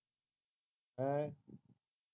ਹੈ